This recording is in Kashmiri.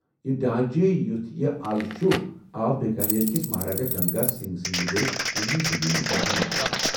یہ ڈھانچہٕ یُتھ یہِ ازٕ چُھ آو بیكانیر كِس مہاراجہ گنگا سنگھ سٕند دِس وُہِمہِ صٔدی منٛز مُکمل کرنہٕ ۔